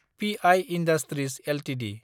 प I industries Ltd